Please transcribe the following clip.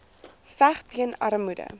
veg teen armoede